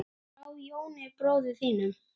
Frá Jóni bróður þínum.